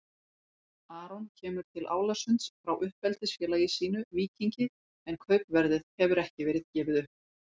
Aron kemur til Álasund frá uppeldisfélagi sínu Víkingi en kaupverðið hefur ekki verið gefið upp.